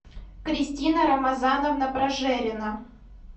кристина рамазановна прожерина